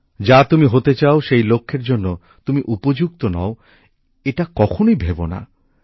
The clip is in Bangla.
যা তুমি হতে চাও সেই লক্ষ্যের জন্য তুমি উপযুক্ত নও এটা কখনোই ভেবোনা